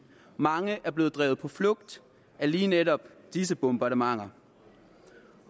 mange er blevet drevet på flugt af lige netop disse bombardementer